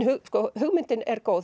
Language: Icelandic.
hugmyndin er góð